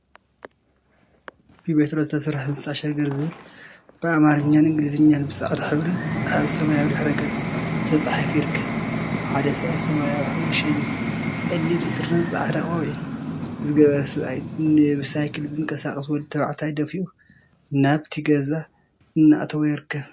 ብቢትሮ ዝተሰርሐ ህንፃ ሸገር ዝብል ብአምሓርኛን እንግሊዘኛን ብፃዕዳ ሕብሪ አብ ሰማያዊ ድሕረ ገፅ ተፃሒፉ ይርከብ፡፡ ሓደ ሰብአይ ሰማያዊ ሕብሪ ሸሚዝ፣ ፀሊም ስረን ፃዕዳ ቆቢዕን ዝገበረ ሰብአይ ንብሳይክል ዝንቀሳቀስ ወዲ ተባዕታይ ደፊኡ ናብቲ ገዛ እናአእተዎ ይርከብ፡፡